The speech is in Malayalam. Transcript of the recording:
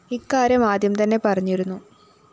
ഇക്കാര്യം ആദ്യം തന്നെ പറഞ്ഞിരുന്നു